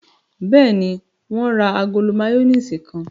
Bẹ́ẹ̀ni, wọ́n ra agolo máyónísì kan.